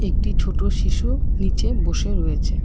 একটি ছোট শিশু নিচে বসে রয়েছে।